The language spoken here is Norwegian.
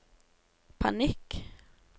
panikk